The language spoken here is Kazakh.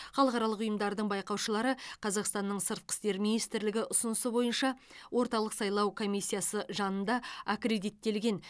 халықаралық ұйымдардың байқаушылары қазақстанның сыртқы істер министрлігі ұсынысы бойынша орталық сайлау комиссиясы жанында аккредиттелген